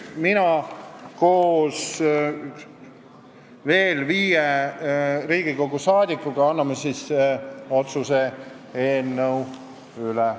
Mina ja veel viis Riigikogu liiget anname otsuse eelnõu üle.